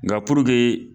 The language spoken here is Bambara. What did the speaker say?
Nka puruke